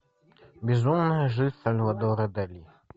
безумная жизнь сальвадора дали